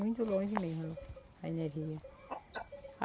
Muito longe mesmo, a energia.